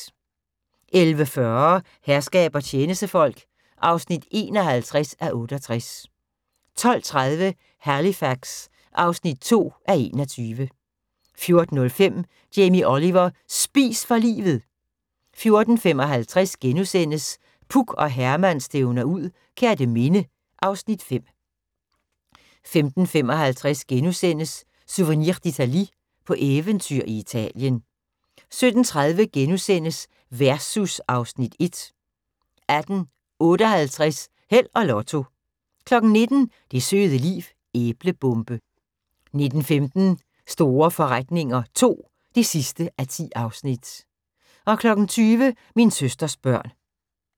11:40: Herskab og tjenestefolk (51:68) 12:30: Halifax (2:21) 14:05: Jamie Oliver: Spis for livet! 14:55: Puk og Herman stævner ud - Kerteminde (Afs. 5)* 15:55: Souvenir d'Italie – på eventyr i Italien * 17:30: Versus (Afs. 1)* 18:58: Held og Lotto 19:00: Det søde liv -æblebombe 19:15: Store forretninger II (10:10) 20:00: Min søsters børn